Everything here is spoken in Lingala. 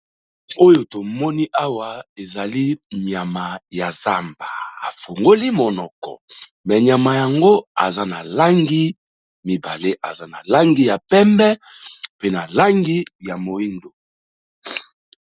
Oyo tomoni awa ezali nyama ya zamba, afungoli monoko me nyama yango aza na langi mibale. Aza na langi ya pembe, pe na langi ya moyindo.